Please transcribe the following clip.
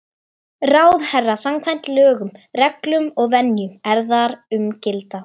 ráðherra samkvæmt lögum, reglum og venjum, er þar um gilda.